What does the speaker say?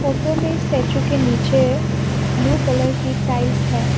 Photo में statue के नीचे ब्लू कलर की टाइल्स है।